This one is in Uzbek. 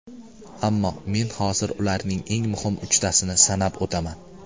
Ammo men hozir ularning eng muhim uchtasini sanab o‘taman.